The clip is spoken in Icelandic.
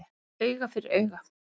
Auga fyrir auga